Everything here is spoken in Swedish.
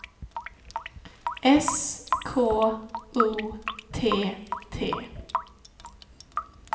S K O T T